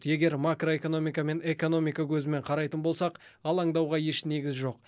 егер макроэкономика мен экономика көзімен қарайтын болсақ алаңдауға еш негіз жоқ